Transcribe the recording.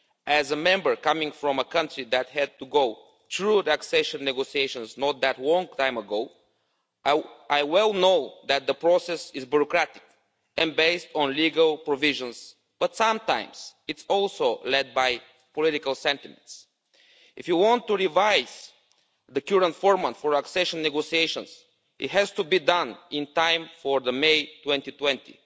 As a Member coming from a country that had to go through the accession negotiations not that long a time ago, I well know that the process is bureaucratic and based on legal provisions, but sometimes it's also led by political sentiments. If you want to revise the current format for accession negotiations, it has to be done in time for the May 2020